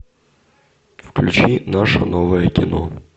включи наше новое кино